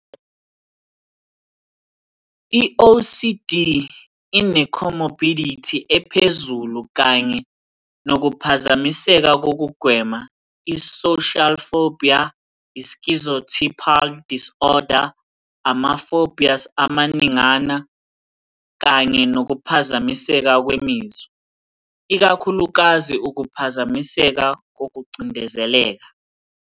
I-OCD ine- comorbidity ephezulu kanye nokuphazamiseka kokugwema, i-social phobia, i- schizotypal disorder, ama -phobias amaningana, kanye nokuphazamiseka kwemizwa, ikakhulukazi ukuphazamiseka kokucindezeleka.